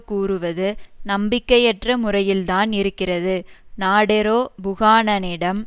கூறுவது நம்பிக்கையற்ற முறையில்தான் இருக்கிறது நாடெரோ புகானனிடம்